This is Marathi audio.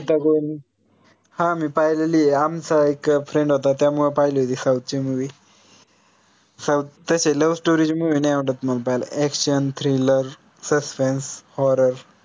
गीता गोविंद हां मी पाहिलेली आहे. आमचा एक friend होता त्यामुळे पाहिलेली south ची movie south त्यांच्या ते love story ची movie नाही आवडत मला पाहायला ActionThrillersuspenseHorror